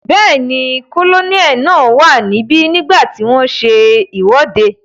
Bẹ́ẹ̀ni, kólóníẹ̀ náà wà níbi nígbàtí wọ́n n ṣe ìwọ́de